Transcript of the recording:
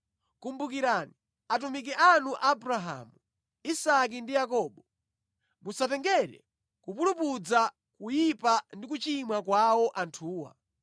Kumbukirani atumiki anu Abrahamu, Isake ndi Yakobo. Musatengere kupulupudza, kuyipa ndi kuchimwa kwawo anthuwa.